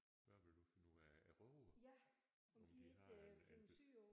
Hvad vil du finde ud af rågerne? Om de har et et